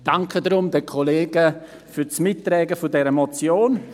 Ich danke deshalb den Kollegen für das Mittragen dieser Motion.